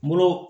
N bolo